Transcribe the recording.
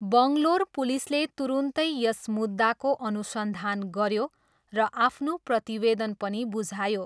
बङ्गलोर पुलिसले तुरुन्तै यस मुद्दाको अनुसन्धान गऱ्यो र आफ्नो प्रतिवेदन पनि बुझायो।